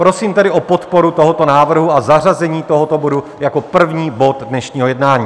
Prosím tedy o podporu tohoto návrhu a zařazení tohoto bodu jako první bod dnešního jednání.